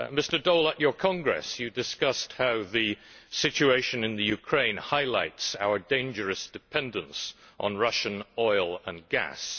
Mr Daul, at your Congress you discussed how the situation in Ukraine highlights our dangerous dependence on Russian oil and gas.